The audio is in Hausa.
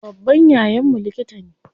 Babban yayan mu likita ne.